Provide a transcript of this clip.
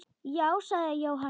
Já, sagði Jóhann.